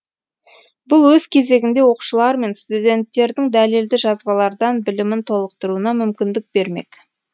бұл өз кезегінде оқушылар мен студенттердің дәлелді жазбалардан білімін толықтыруына мүмкіндік бермек